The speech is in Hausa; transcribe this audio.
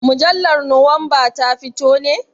Mujallar nowamba ta fito ne?